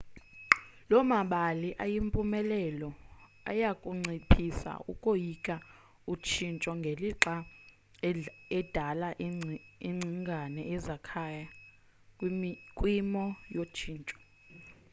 loo mabali ayimpumelelo ayakunciphisa ukoyika utshintsho ngelixa edala ingcingane ezakhaya kwimo yotshintsho